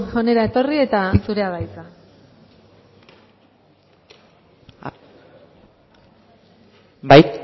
hona etorri eta zurea da hitza bai